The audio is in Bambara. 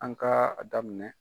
An ka a daminɛ.